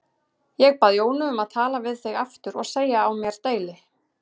Ég bað Jónu um að tala við þig aftur og segja á mér deili.